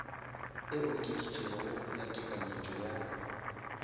e okeditšwego ya tekanyetšo ya